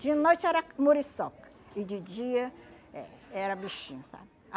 De noite era muriçoca e de dia eh era bichinho, sabe?